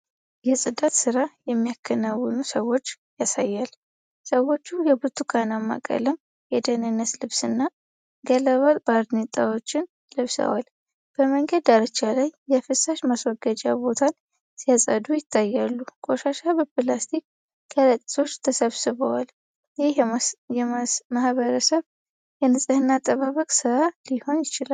የጽዳት ሥራ የሚያከናውኑ ሰዎችን ያሳያል። ሰዎች የብርቱካናማ ቀለም የደህንነት ልብስና ገለባ ባርኔጣዎችን ለብሰዋል። በመንገድ ዳርቻ ላይ የፍሳሽ ማስወገጃ ቦታን ሲያጸዱ ይታያሉ። ቆሻሻ በፕላስቲክ ከረጢቶች ተሰብስቧል። ይህ የማህበረሰብ የንፅህና አጠባበቅ ሥራ ሊሆን ይችላል።